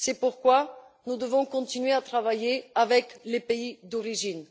C'est pourquoi nous devons continuer à travailler avec les pays d'origine.